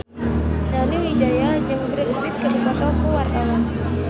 Nani Wijaya jeung Brad Pitt keur dipoto ku wartawan